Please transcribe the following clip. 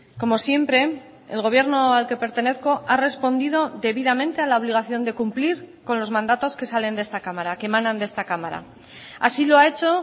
como siempre el gobierno al que pertenezco ha respondido debidamente a la obligación de cumplir con los mandatos que salen de esta cámara que emanan de esta cámara así lo ha hecho